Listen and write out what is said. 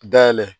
Dayɛlɛ